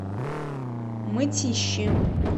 мытищи